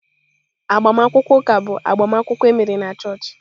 Agbamakwụkwọ ụka bụ agbamakwụkwọ emere na chọọchị.